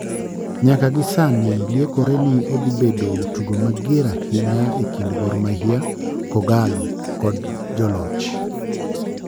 nyaka gisani liekore ni odhibedo tugo mager ahinya ekind gor mahia [kogallo] god joloch